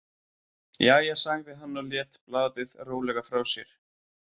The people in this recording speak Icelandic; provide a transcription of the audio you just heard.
Jæja, sagði hann og lét blaðið rólega frá sér.